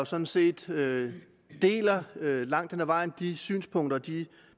sådan set langt hen ad vejen de synspunkter og de